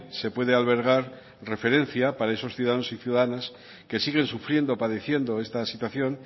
se puede albergar referencia para esos ciudadanos y ciudadanas que siguen sufriendo padeciendo esta situación